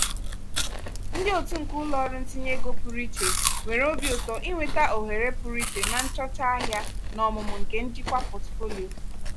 ndị otu nke ụlọ ọrụ ntinye ego pụrụ iche nwere obi ụtọ inweta ohere pụrụ iche na nchọcha ahịa na ọmụmụ nke njikwa pọtụfoliyo.